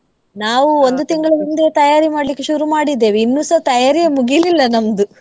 ನಾವು ಒಂದು ತಿಂಗಳು ಮುಂದೆ ತಯಾರಿ ಮಾಡ್ಲಿಕ್ಕೆ ಶುರು ಮಾಡಿದ್ದೇವೆ ಇನ್ನುಸಾ ತಯಾರಿಯೆ ಮುಗಿಲಿಲ್ಲ ನಮ್ದು .